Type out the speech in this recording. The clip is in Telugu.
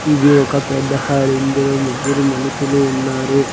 ఇది ఒక పెద్ద హాల్ ఇందులో ముగ్గురు మనుషులు ఉన్నారు.